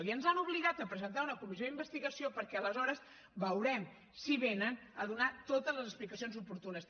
i ens han obligat a presentar una comissió d’investigació perquè aleshores veurem si venen a donar totes les explicacions oportunes